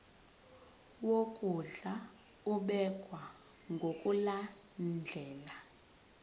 wokondla ubekwa ngokulandlela